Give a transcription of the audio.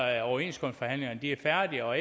at overenskomstforhandlingerne er færdige og